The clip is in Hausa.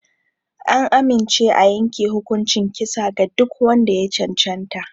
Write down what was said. An amince a yanke hukuncin kisa ga duk wanda ya cancanta.